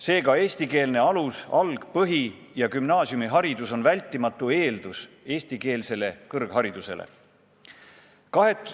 Seega, eestikeelne alus-, alg-, põhi- ja gümnaasiumiharidus on vältimatu eeldus eestikeelsele kõrgharidusele.